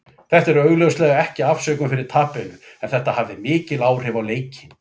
Þetta er augljóslega ekki afsökun fyrir tapinu, en þetta hafði mikil áhrif á leikinn.